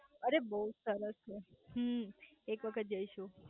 અરે બઉજ સરસ છે હમ્મ એક વખત જઈશું